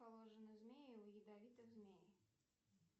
положено змею у ядовитых змей